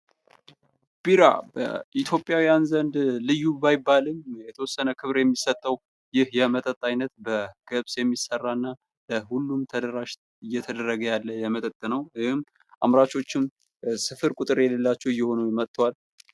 ቢራ በኢትዮጵያውያን ዘንድ ልዩ ባይባልም የተወሰነ ክብር የሚሰጠው ይህ የመጠጥ አይነት በገብስ የሚሰራና ለሁሉም ተደራሽ እየተደረገ ያለ የመጠጥ ነው ።ይህም አምራቾችም ስፍር ቁጥር የሌላቸው እየሆኑ መጥተዋል።